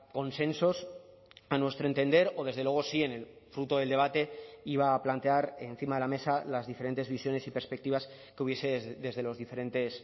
consensos a nuestro entender o desde luego sí en el fruto del debate iba a plantear encima de la mesa las diferentes visiones y perspectivas que hubiese desde los diferentes